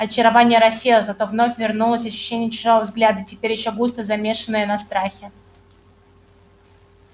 очарование рассеялось зато вновь вернулось ощущение чужого взгляда теперь ещё густо замешенное на страхе